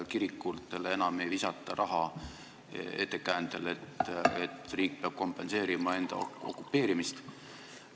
Kirikutele enam ei visata eelarvest mööda minnes raha ettekäändel, et riik peab kompenseerima enda okupeerimist.